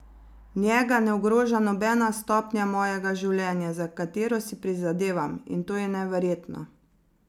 Njega ne ogroža nobena stopnja mojega življenja, za katero si prizadevam, in to je neverjetno.